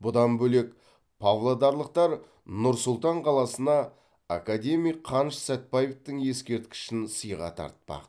бұдан бөлек павлодарлықтар нұр сұлтан қаласына академик қаныш сәтбаевтың ескерткішін сыйға тартпақ